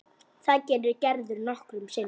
Það gerir Gerður nokkrum sinnum.